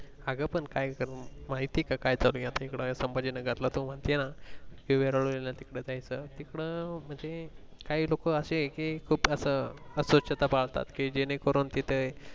अंग पण काय करू माहित ये का चालू ये संभाजी नगर ला तू म्हणते ना जायचं तिकडे म्हणजे काही लोक अशे कि खूप असं अस्वच्छता पाळतात जेणे करून ते तिथे